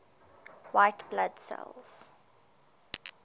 white blood cells